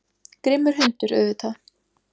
Grimmur hundur, auðvitað.